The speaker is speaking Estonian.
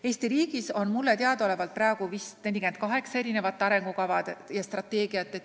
Eesti riigis on minu teada 48 arengukava ja strateegiat.